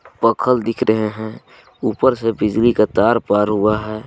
पखल दिख रहे है ऊपर से बिजली का तार पार हुआ है.